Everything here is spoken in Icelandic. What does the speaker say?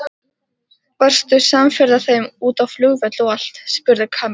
Varstu samferða þeim út á flugvöll og allt? spurði Kamilla.